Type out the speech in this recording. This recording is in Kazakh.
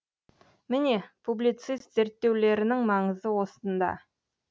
міне публицист зерттеулерінің маңызы осында